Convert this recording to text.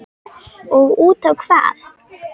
Og útá hvað?